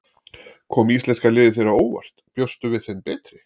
Kom íslenska liðið þér á óvart, bjóstu við þeim betri?